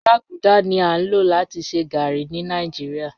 Gbaguda ni a lo lati ṣe garri ni Nigeria